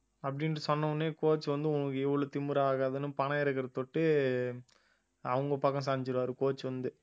அப்படின்னு சொன்ன உடனே coach வந்து உனக்கு எவ்வளவு திமிராகாதுன்னு பணம் இருக்கிற தொட்டு அவங்க பக்கம் சாஞ்சிருவாரு coach வந்து